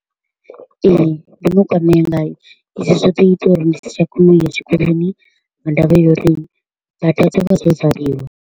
Ee, ndo no kwamea ngayo, izwi zwo ḓo ita uri ndi si tsha kona u ya tshikoloni nga ndavha ya uri bada dzo vha dzo valiwa.